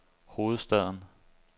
hovedstaden